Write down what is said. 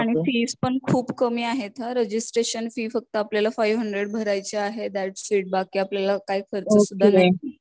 आणि फीज पण खूप कमी आहे इथ, रजिस्ट्रेशन फी फक्त आपल्याला फाईव्ह हंड्रेड भरायची आहे दॅट इट बाकी आपल्याला काही खर्च सुद्धा नाही